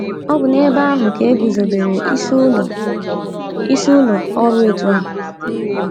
Ọ bụ n’ebe ahụ ka e guzobere isi ụlọ isi ụlọ ọrụ òtù a.